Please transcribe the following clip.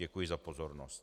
Děkuji za pozornost.